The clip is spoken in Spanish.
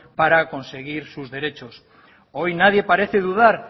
para conseguir sus derechos hoy nadie parece dudar